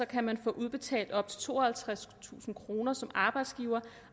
kan man få udbetalt op til tooghalvtredstusind kroner som arbejdsgiver